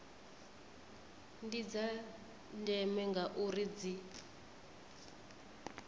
ndi dza ndeme ngauri dzi